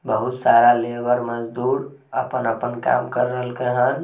बहुत सारा लेबर मजदूर अपन-अपन कम कर रहल के हैन।